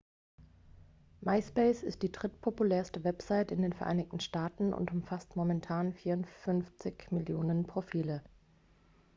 myspace ist die drittpopulärste website in den vereinigten staaten und umfasst momentan 54 millionen profile